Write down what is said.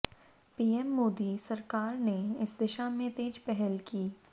PM Modi सरकार ने इस दिशा में तेज पहल की